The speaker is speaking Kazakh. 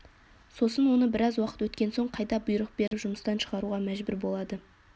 сосын оны біраз уақыт өткен соң қайта бұйрық беріп жұмыстан шығаруға мәжбүр болады